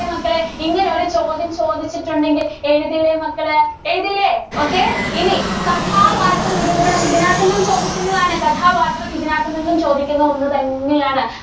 ~യോ മക്കളേ? ഇങ്ങനെ ഒരു ചോദ്യം ചോദിച്ചിട്ടുണ്ടെങ്കില്‍ എഴുതില്ലേ മക്കള്? എഴുതില്ലേ? okay ഇനി കഥാപാത്ര നിരൂപണം ഇതിനകത്ത് നിന്നും ചോദിക്കുന്നതാണ്. കഥാപാത്രം ഇതിനകത്ത് നിന്നും ചോദിക്കുന്ന ഒന്ന് തന്നെയാണ്.